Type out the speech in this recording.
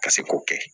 Ka se k'o kɛ